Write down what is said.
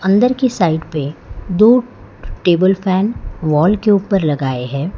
अंदर की साइड पे दो टेबल फैन वॉल के ऊपर लगाए हैं।